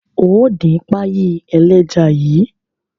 Óò dín páyì ẹlẹ́ja yìí!